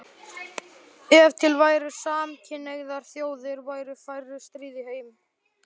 Ef til væru samkynhneigðar þjóðir væru færri stríð í heim